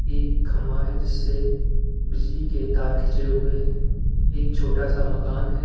एक खंभा है जिससे बिजली के तार खींचे हुए है एक छोटा -सा मकान है ।